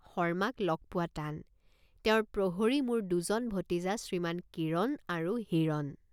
শৰ্মাক লগ পোৱা টান। শৰ্মাক লগ পোৱা টান। তেওঁৰ প্ৰহৰী মোৰ দুজন ভতিজা শ্ৰীমান কিৰণ আৰু হিৰণ।